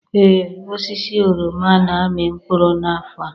Ee, osisi oroma na-amị mkpụrụ n'afọ a.